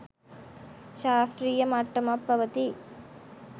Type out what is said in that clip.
ශාස්ත්‍රීය මට්ටමක් පවතී.